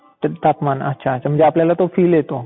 तापमान अच्छा. तर म्हणजे आपल्याला तो फील येतो.